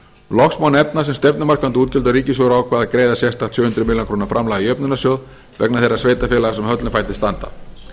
loks má nefna sem stefnumarkandi útgjöld að ríkissjóður ákvað að greiða sérstakt sjö hundruð ár framlag í jöfnunarsjóð vegna þeirra sveitarfélaga sem höllum fæti standa